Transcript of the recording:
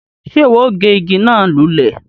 Ṣe iwọ o gé ìgi náà lulẹ?